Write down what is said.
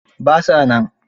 Ba sa nan.